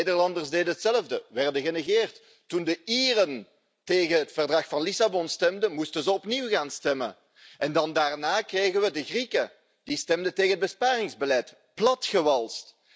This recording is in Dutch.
De Nederlanders deden hetzelfde ze werden genegeerd. Toen de Ieren tegen het Verdrag van Lissabon stemden, moesten ze opnieuw gaan stemmen. Daarna kregen we de Grieken die stemden tegen het besparingsbeleid platgewalst.